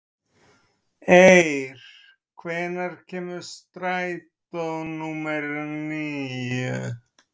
Eir, hvenær kemur strætó númer níu?